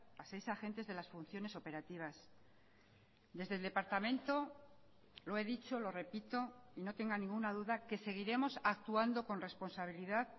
a seis agentes de las funciones operativas desde el departamento lo he dicho lo repito y no tenga ninguna duda que seguiremos actuando con responsabilidad